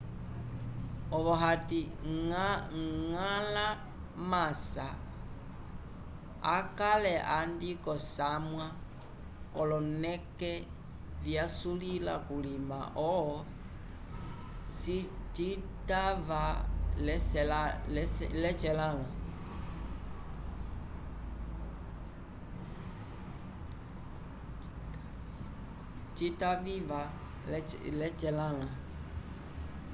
ovo ati ngala masa akale andi kosamwa koloneke vyasulila kulima ho cita viva lecelanla